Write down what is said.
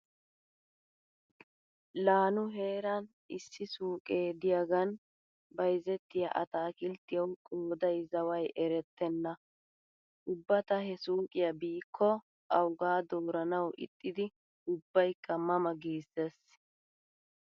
La nu heeran issi suuqee diyaagan bayzettiya ataakilttiyawu qooday zaway erettenna. Ubba ta he suuqiya biikko awuga dooranawu ixxidi ubbaykka ma ma giissees.